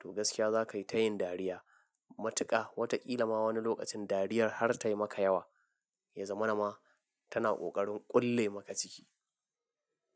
to gaskiya za ka yi ta yin dariya matuƙa. Wataƙila ma wani lokacin dariyar har ta yi maka yawa, ya zama na ma tana ƙoƙarin ƙulle maka ciki.